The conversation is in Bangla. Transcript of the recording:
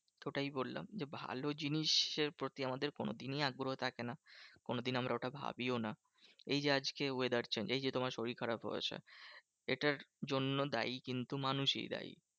ওটাই বললাম যে ভালো জিনিসের প্রতি আমাদের কোনোদিনই আগ্রহ থাকে না। কোনোদিন আমরা ওটা ভাবিও না। এই যে আজকে weather change এই যে তোমার শরীর খারাপ হয়েছে, এটার জন্য দায়ী কিন্তু মানুষই দায়ী।